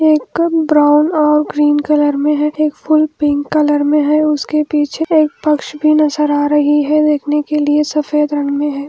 एक ब्राउन और green colour में है एक फूल पिंक कलर में है उसके पीछे एक पक्ष भी नजर आ रही है देखने के लिए सफेद रंग में है।